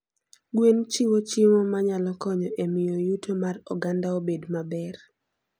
Gwen chiwo chiemo manyalo konyo e miyo yuto mar oganda obed maber.